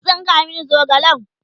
ka tsinka min zogalen!